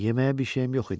Yeməyə bir şeyim yox idi.